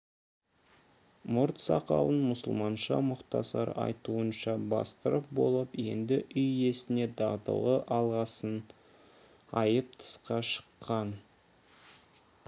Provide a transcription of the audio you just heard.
мұрт сақалын мұсылманша мұхтасар айтуынша бастырып болып енді үй иесіне дағдылы алғысын айтып тысқа шыққан